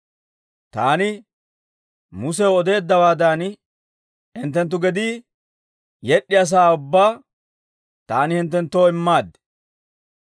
Taani Musew odeeddawaadan, hinttenttu gedii yed'd'iyaa sa'aa ubbaa taani hinttenttoo immaad.